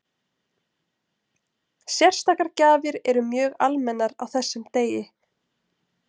Sérstakar gjafir eru mjög almennar á þessum degi.